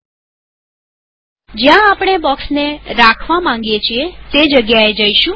000443 000349 જ્યાં આપણે બોક્ષને મુકવા માંગીએ છીએ તે જગ્યાએ જઈશું